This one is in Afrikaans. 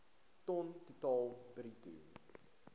ton totaal bruto